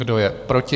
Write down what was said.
Kdo je proti?